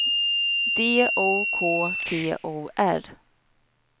D O K T O R